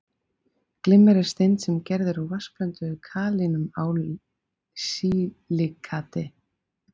Glimmer er steind sem gerð er úr vatnsblönduðu kalíum-ál-silíkati